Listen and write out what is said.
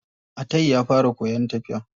Atai ya fara koyan tafiya.